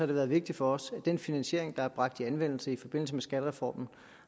det været vigtigt for os at den finansiering der har været bragt i anvendelse i forbindelse med skattereformen